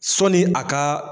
Sɔni a ka.